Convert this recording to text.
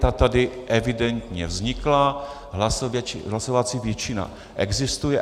Ta tady evidentně vznikla, hlasovací většina existuje.